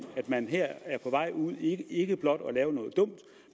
at man her er på vej ud i ikke blot at lave noget dumt